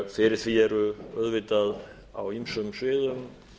fyrir því eru auðvitað á ýmsum sviðum